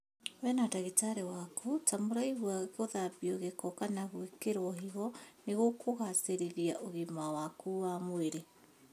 We na ndagĩtarĩ waku ta mũraigua gũthambio gĩko kana gwĩkĩrwo higo nĩgũkũgacĩrithia ũgima waku wa mwĩrĩ